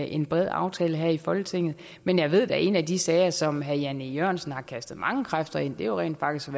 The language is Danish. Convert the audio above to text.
en bred aftale her i folketinget men jeg ved da at en af de sager som herre jan e jørgensen har kastet mange kræfter ind i rent faktisk